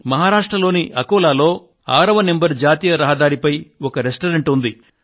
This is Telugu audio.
మహారాష్ట్రలోని అకోలాలో 6వ నెంబర్ జాతీయ రహదారిపై ఒక రెస్టారెంట్ ఉంది